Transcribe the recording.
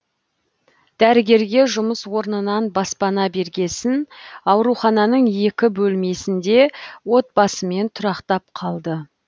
дәрігерге жұмыс орнынан баспана бергесін аурухананың екі бөлмесінде отбасымен тұрақтап қалды